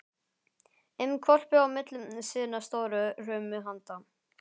um hvolpi á milli sinna stóru hrumu handa.